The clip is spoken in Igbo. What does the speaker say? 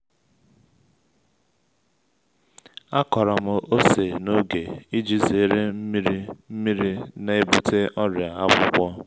a kọrọ m ose n’oge iji zere nmiri nmiri na-ebute ọrịa akwụkwọ